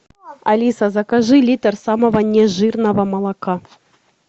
алиса закажи литр самого нежирного молока